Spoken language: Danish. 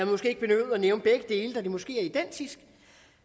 måske ikke behøvet at nævne begge dele da de måske er identiske